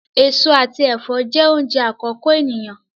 Èso àti ẹfọ jẹ oúnjẹ àkọ́kọ́ eniyan.